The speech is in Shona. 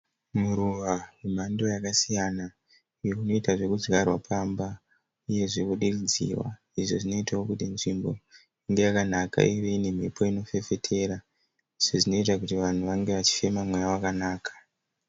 Muruva wemhando yakasiyana uyo unoita zvekudzvarwa pamba. Uyezve kudiridzirwa. Izvo zvinoitawo kuti nzvimbo inge yakanaka. Ive ne mhepo inofefetera. Izvo zvinoita kuti vanhu vange vachifema mhepo yakanaka.